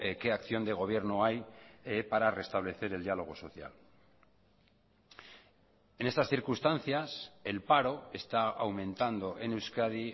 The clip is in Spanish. qué acción de gobierno hay para restablecer el diálogo social en estas circunstancias el paro está aumentando en euskadi